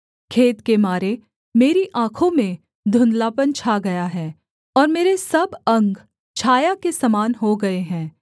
खेद के मारे मेरी आँखों में धुंधलापन छा गया है और मेरे सब अंग छाया के समान हो गए हैं